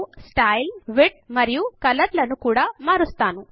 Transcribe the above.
నేను style width మరియు colour లను కూడా మారుస్తాను